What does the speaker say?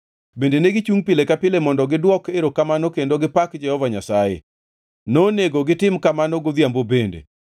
Bende negichungʼ pile ka pile mondo gidwok erokamano kendo gipak Jehova Nyasaye. Nonego gitim kamano godhiambo bende,